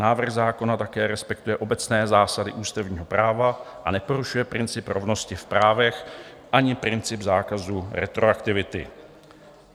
Návrh zákona také respektuje obecné zásady ústavního práva a neporušuje princip rovnosti v právech ani princip zákazu retroaktivity.